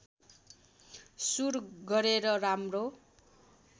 सुर गरेर राम्रो